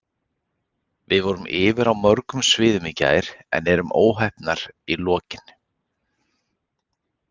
Við vorum yfir á mörgum sviðum í gær en erum óheppnar í lokin.